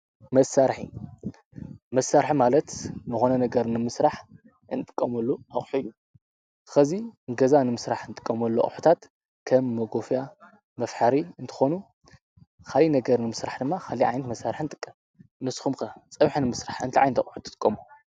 መሳርሒ መሳርሒ ማለት ዝኮነ ነገር ንምስራሕ እንጥቀመሉ ኣቁሑ እዩ ፤ ከዚ ገዛ ንምስራሕ እንጥቀመሉ ኣቁሕታት ከም ሞጎፍያ፣ መፍሐሪ እንትኮኑ ካሊእ ነገር ንምስራሕ ድማ ካሊእ ዓይነት መሳርሒ ንጥቀም። ንስኩም ከ ፀብሒ ንምስራሕ እንታይ ዓይነት ኣቁሑት ትጥቀሙ?